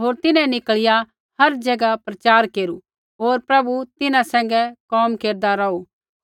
होर तिन्हैं निकल़िया हर ज़ैगा प्रचार केरू होर प्रभु तिन्हां सैंघै कोम केरदा रौहु